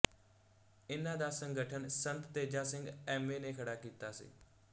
ਇਨ੍ਹਾਂ ਦਾ ਸੰਗਠਨ ਸੰਤ ਤੇਜਾ ਸਿੰਘ ਐਮ ਏ ਨੇ ਖੜਾ ਕੀਤਾ ਸੀ